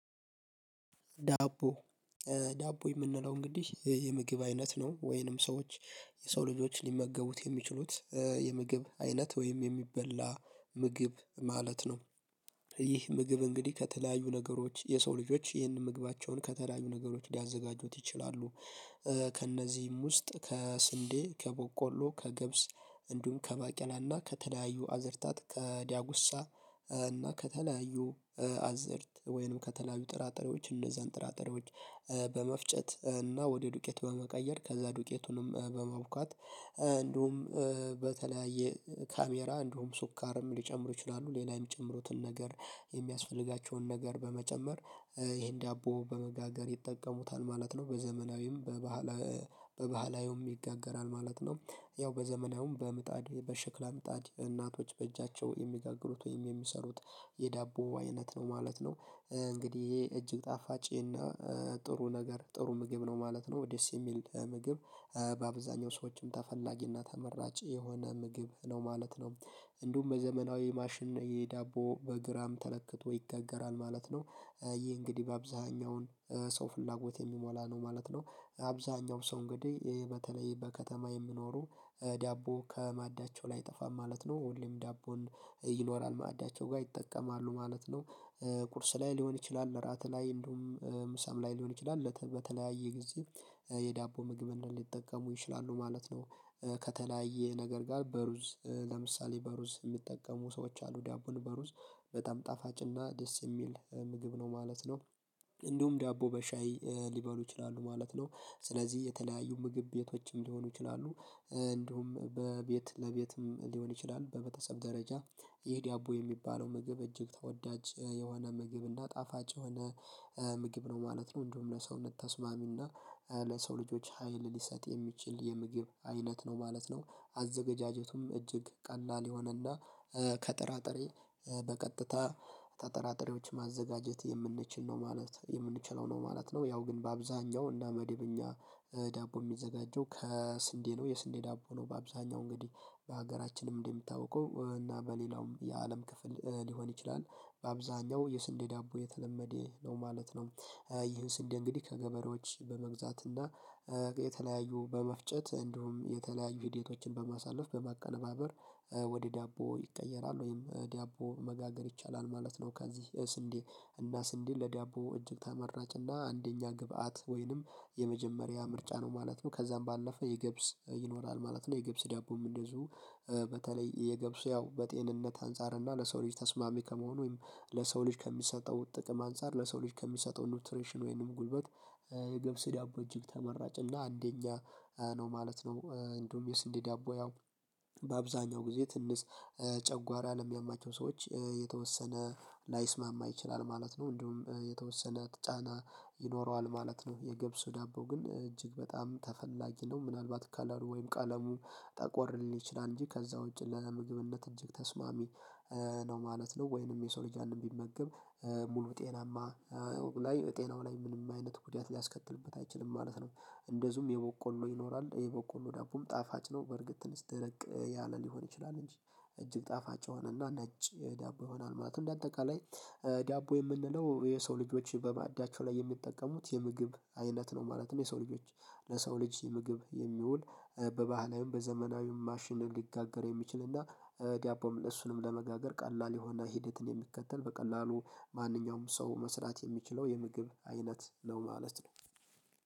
ዳቦ ዳቦ የምንለው እንግዲህ የምግብ አይነት ነው። ወይንም ሰዎች የሰው ልጆች ሊመገቡት የሚችሉት የምግብ አይነት ወይም የሚበላ ምግብ ማለት ነው። ይህ ምግብ እንግዲህ ከተለያዩ ነገሮች የሰው ልጆች ይህንን ምግባቸውን ከተለያዩ ነገሮች ሊያዘጋጁት ይችላሉ። ከእነዚህም ውስጥ ከስን፣ ከቦቆሎ፣ ከገብስ እንዲሁም ከባቄላና ከተለያዩ አዝርታት ከዳጉሳ እና ከተለያዩ አዝእርት ወይንም ከተለያዩ ጥራጥሬዎች እንደዛን ጥራጥሬዎች በመፍጨት እና ወደ ዱቄት በመቀየር ከዛ ዱቄቱንም በማቡካት እንዲሁም በተለያየ ካሜራ እንደውም ሱካርም ሊጨምሩ ይችላሉ ሌላም የሚጨምሩትን ነገር የሚያስፈልጋቸውን ነገር በመጨመር ይሄን ዳቦ በመጋገር ይጠቀሙታል ማለት ነው። በዘመናዊም በባህላዊውም ይጋገራል ማለት ነው። ያው በዘመናዊም በምጣድ በሽክላ ምጣድ እናቶች በእጃቸው የሚጋግሩት ወይም የሚሰሩት የዳቦ አይነት ነው ማለት ነው። እንግዲህ ይሄ እጅግ ጣፋጭ እና ጥሩ ነገር ጥሩ ምግብ ነው ማለት ነው። ደስ የሚል ምግብ በአብዛኛው ሰዎችም ተፈላጊ እና ተመራጭ የሆነ ምግብ ነው ማለት ነው። እንዲሁም በዘመናዊ ማሽን የዳቦ በግራም ተለክቶ ይጋገራል ማለት ነው። ይህ እንግዲህ በአብዛኛውን ሰው ፍላጎት የሚሞላ ነው ማለት ነው። አብዛኛው ሰው እንግዲህ በተለይ በከተማ የሚኖሩ ዳቦ ከማዳቸው ላይ አይጠፋም ማለት ነው። ሁሌም ዳቦንፈም ይኖራል። ማዕዳቸው ጋር ይጠቀማሉ ማለት ነው። ቁርስ ላይ ሊሆን ይችላል እራት ላይ እንዲሁም ምሳም ላይ ሊሆን ይችላል እንዲሁም በተለያየ ጊዜ የዳቦ ምግብ ምግብን ሊጠቀሙ ይችላሉ ማለት ነው። ከተለያየ ነገር ጋር በሩዝ ለምሳሌ በሩዝ የሚጠቀሙ ሰዎች አሉ። ዳቦን በሩዝ በጣም ጣፋጭና ደስ የሚል ምግብ ነው ማለት ነው። እንዲሁም ዳቦ በሻይ ሊበሉ ይችላሉ ማለት ነው። ስለዚህ የተለያዩ ምግብ ቤቶችም ሊሆኑ ይችላሉ እንዲሁም በቤት ለቤትም ሊሆን ይችላል። በመተሰብ ደረጃ ይህ ደቦ የሚባለው ምግብ እጅግ ተወዳጅ የሆነ ምግብ እና ጣፋጭ የሆነ ምግብ ነው ማለት ነው። እንደውም ለሰውነት ተስማሚና ለሰው ልጆች ሀይል ሊሰጥ የሚችል የምግብ አይነት ነው ማለት ነው። አዘገጃጀቱም እጅግ ቀላል ከጥራጥሬ በቀጥታ ማዘጋጀት የምንችለው ነው ማለት ነው። ያው ግን በአብዛኛው እና መደበኛ ዳቦ የሚዘጋጀው ከስንዴ ነው። የስንዴ ዳቦ ነው በአብዛኛው እንግዲህ በሀገራችንም እንደሚታውቀው እና በሌላውም የአለም ክፍል ሊሆን ይችላል በአብዛኛው የስንዴ ዳቦ የተለመደ ነው ማለት ነው። ይህን ስንዴ እንግዲህ ከገበሬዎች በመግዛት እና የተለያዩ በመፍጨት እንዲሁም የተለያዩ ሂደቶችን በማሳለፍ በማቀነባበር ወደ ዳቦ ይቀየራል ወይም ዳቦ መጋገር ይቻላል ማለት ነው። ከዚህ ስንዴ ለዳቦ እጅግ ተመራጭ እና አንደኛ ግብአት ወይንም የመጀመሪያ ምርጫ ነው ማለት ነው። ከዛም ባለፈ የገብስ ይኖራል ማለት ነው የገብስ ዳቦም እንደዚሁ በተለይ የገብሱ ያው በጤንነት አንፃር እና ለሰው ልጅ ተስማሚ ከመሆኑ ወይም ለሰው ልጅ ከሚሰጠው ጥቅም አንፃር ለሰው ልጅ ከሚሰጠው ኒውትሬሽን ወይንም ጉልበት የገብስ ዳቦ እጅግ ተመራጭ እና አንደኛ ነው ማለት ነው። እንደውም የስንዴ ዳቦ ያው በአብዛኛው ጊዜ ትንሽ ጨጓራ ለሚያማቸው ሰዎች የተወሰነ ላይስማማ ይችላል ማለት ነው። እንደውም የተወሰነ ጫና ይኖረዋል ማለት ነው። የገብሱ ዳቦ ግን እጅግ በጣም ተፈላጊ ነው ምናልባት ከለሩ ወይም ቀለሙ ጠቆር ሊል ይችላል እንጂ ከዛ ውጪ ለምግብነት እጅግ ተስማሚ ነው ማለት ነው። ወይንም የሰው ልጅ ያንን ቢመገብ ሙሉ ጤናማ ላይ ጤናው ላይ ምንም አይነት ጉዳት ሊያስከትልበት አይችልም ማለት ነው። እንደዚሁም የቦቆሎ ይኖራል የቦቆሎ ዳቦም ጣፋጭ ነው። በርግጥ ትንሽ ደረቅ ያለ ሊሆን ይችላል እንጂ። እጅግ ጣፋጭ የሆነና ነጭ ዳቦ ይሆኗል ማለት እንደአጠቃላይ ዳቦ የምንለው የሰው ልጆች በማዕዳቸው ላይ የሚጠቀሙት የምግብ አይነት ነው ማለት ነው። የሰው ልጆች ለሰው ልጅ ምግብ የሚውል በባህላዊም በዘመናዊም ማሽንን ሊጋገር የሚችል እና ዳቦም እሱንም ለመጋገር ቀላል የሆነ ሂደትን የሚከተል በቀላሉ ማንኛውም ሰው መስራት የሚችለው የምግብ አይነት ነው ማለት ነው።